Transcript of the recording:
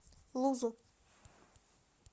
лузу